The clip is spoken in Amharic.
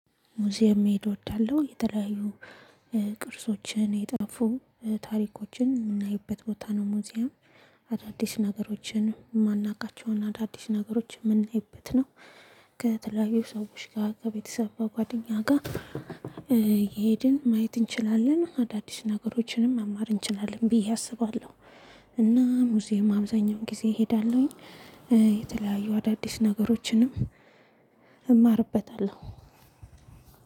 ሙዚየም መሄድ እወዳለሁ የተለያዩ ቅርሶችን የጠፉ ታሪኮችን የምናይበት ቦታ ነው። ሙዚየም አዳዲስ ነገሮችን ማናቃቸውን አዳዲስ ነገሮችን ምናይበት ነው። ከተለያዩ ሰዎች ጋር ከቤተሰብ በጓደኛጋ አየ ሄድን ማየት እንችላለን አዳዲስ ነገሮችንም መማር እንችላለን ብዬ አስባለሁ። እና ሙዚየም አብዛኛውን ጊዜ እሄዳለሁኝ። የተለያዩ አዳዲስ ነገሮችንም እማርበታለሁ።